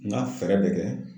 N ga fɛɛrɛ bɛ kɛ